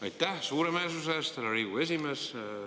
Aitäh suuremeelsuse eest, härra Riigikogu esimees!